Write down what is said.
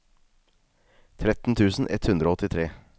tretten tusen ett hundre og åttitre